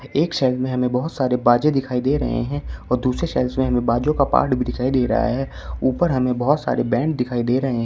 एक शेल्व्स में हमें बहुत सारे बाजे दिखाई दे रहे हैं और दूस शेल्व्स में बाजों का पार्ट दिखाई दे रहा है ऊपर हमें बहुत सारे बैंड दिखाई दे रहे हैं।